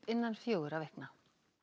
innan fjögurra vikna